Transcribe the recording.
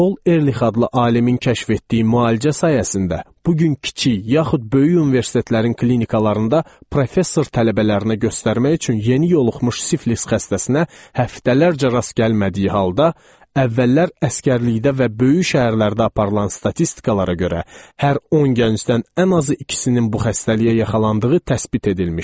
Paul Erlih adlı alimin kəşf etdiyi müalicə sayəsində bu gün kiçik, yaxud böyük universitetlərin klinikalarında professor tələbələrinə göstərmək üçün yeni yoluxmuş siflis xəstəsinə həftələrcə rast gəlmədiyi halda, əvvəllər əsgərlikdə və böyük şəhərlərdə aparılan statistikalara görə hər 10 gəncdən ən azı ikisinin bu xəstəliyə yaxalandığı təsbit edilmişdi.